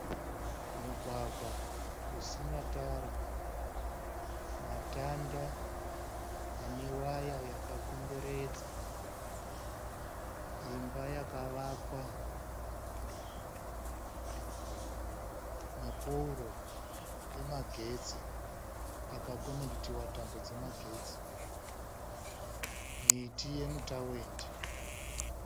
Mugwagwa usina tara, matanda ane waya yakakomberedza, imba yakavakwa, mapooro emagetsi, akakonekitiwa tambo dzemagetsi, miti yemitawendi.